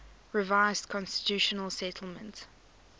revised constitutional settlement